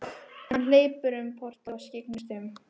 Hann hleypur um portið og skyggnist um.